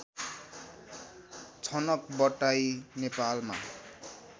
छनक बट्टाई नेपालमा